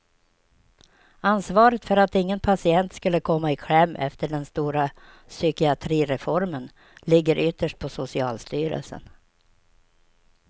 Ansvaret för att ingen patient skulle komma i kläm efter den stora psykiatrireformen ligger ytterst på socialstyrelsen.